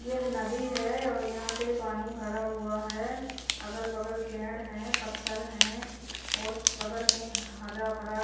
यह नदी है और यहां पे पानी भरा हुआ है अगल बगल पेड़ है पत्थर है और बगल में ह हरा भरा--